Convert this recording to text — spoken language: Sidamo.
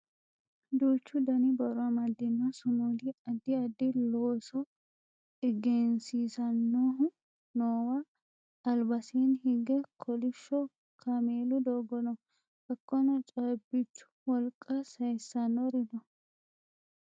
duuchu dani borro amadino sumudi addi addi looso egensiisannohu noowa albasiinni higge kolishsho kameelu doogo no hakkono caabbichu wolqa sayiisannori no